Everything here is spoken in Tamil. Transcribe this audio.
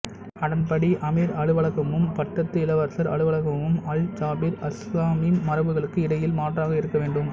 அதன்படி அமீர் அலுவலகமும் பட்டத்து இளவரசர் அலுவலகமும் அல்ஜாபிர் அல்சாலிம் மரபுகளுக்கு இடையில் மாற்றாக இருக்க வேண்டும்